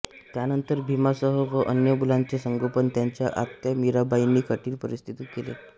त्यानंतर भीमासह व अन्य मुलांचे संगोपन त्यांच्या आत्या मीराबाईंनी कठीण परिस्थितीत केले